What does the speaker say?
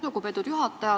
Lugupeetud juhataja!